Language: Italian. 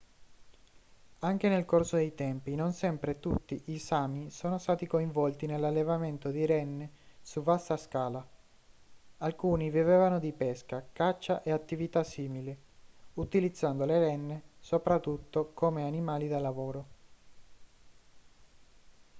anche nel corso dei tempi non sempre tutti i sámi sono stati coinvolti nell'allevamento di renne su vasta scala; alcuni vivevano di pesca caccia e attività simili utilizzando le renne soprattutto come animali da lavoro